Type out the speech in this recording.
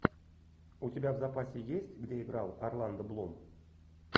у тебя в запасе есть где играл орландо блум